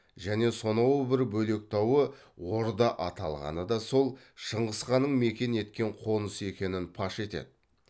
және сонау бір бөлек тауы орда аталғаны да сол шыңғыс ханның мекен еткен қонысы екенін паш етеді